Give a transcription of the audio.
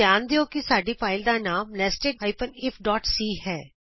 ਧਿਆਨ ਦਿਉ ਕਿ ਸਾਡੀ ਫਾਈਲ ਦਾ ਨਾਮ nested ifਸੀ ਹੈ